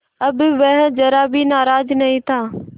अब वह ज़रा भी नाराज़ नहीं था